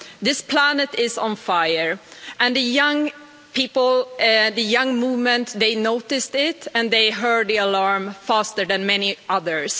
This planet is on fire and the young people, the young movement, noticed it and heard the alarm faster than many others.